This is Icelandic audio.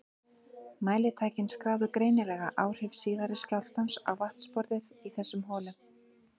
Mælitækin skráðu greinilega áhrif síðari skjálftans á vatnsborðið í þessum holum.